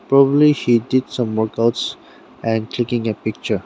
probably she did some workouts and clicking a picture.